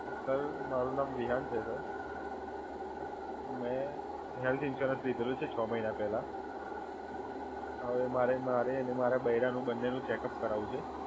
મારુ નામ વિહાન છે, સર. મે હેલ્થ ઇન્સ્યુરન્સ લીધેલ છે છ મહિના પહેલા, હવે મારે અને મારા બૈરાનું બંનેનું ચેકઅપ કરાવવું છે.